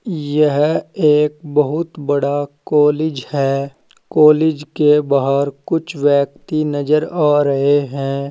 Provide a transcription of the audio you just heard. यह एक बहुत बड़ा कॉलेज है कॉलेज के बाहर कुछ व्यक्ति नजर आ रहे हैं।